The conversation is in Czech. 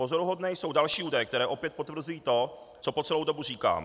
Pozoruhodné jsou další údaje, které opět potvrzují to, co po celou dobu říkám.